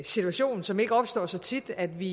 situation som ikke opstår så tit at vi